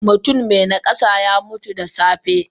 Mutum me nakasa yamutu da safe.